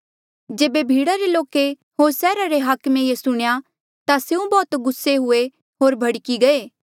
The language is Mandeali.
जेबे भीड़ा रे लोके होर सैहरा रे हाकमे ये सुणेयां ता स्यों बौह्त गुस्से हुए होर भड़की गये